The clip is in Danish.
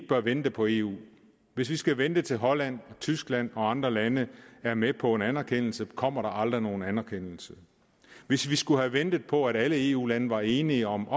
bør vente på eu hvis vi skal vente til holland og tyskland og andre lande er med på en anerkendelse kommer der aldrig nogen anerkendelse hvis vi skulle have ventet på at alle eu lande var enige om